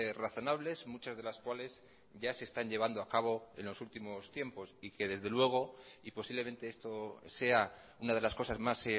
razonables muchas de las cuales ya se están llevando acabo en los últimos tiempos y que desde luego y posiblemente esto sea una de las cosas más